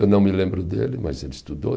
Eu não me lembro dele, mas ele estudou.